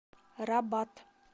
рабат